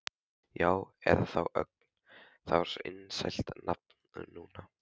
Já, eða þá Ögn, það er svo vinsælt nafn núna.